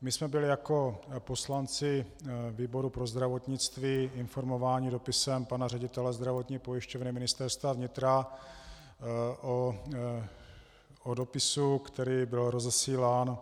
My jsme byli jako poslanci výboru pro zdravotnictví informováni dopisem pana ředitele Zdravotní pojišťovny Ministerstva vnitra o dopisu, který byl rozesílán